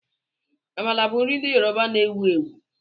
Amala bụ nri ndị Yoruba na-ewu ewu